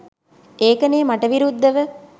ඒකනේ මට විරුද්ධව